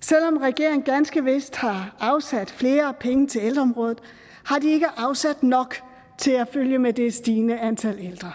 selv om regeringen ganske vist har afsat flere penge til ældreområdet har de ikke afsat nok til at følge med det stigende antal ældre